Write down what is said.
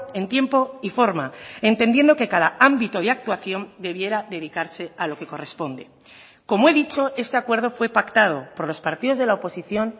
en tiempo y forma entendiendo que cada ámbito de actuación debiera dedicarse a lo que corresponde como he dicho este acuerdo fue pactado por los partidos de la oposición